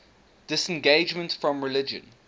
disengagement from religion